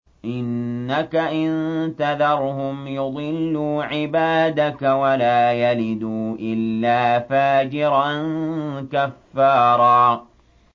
إِنَّكَ إِن تَذَرْهُمْ يُضِلُّوا عِبَادَكَ وَلَا يَلِدُوا إِلَّا فَاجِرًا كَفَّارًا